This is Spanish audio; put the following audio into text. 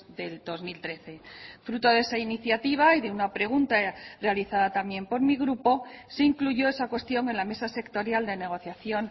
del dos mil trece fruto de esa iniciativa y de una pregunta realizada también por mi grupo se incluyó esa cuestión en la mesa sectorial de negociación